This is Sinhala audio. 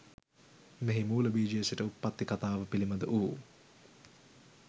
මෙහි මූල බීජයේ සිට උප්පත්ති කතාව පිළිබඳ වූ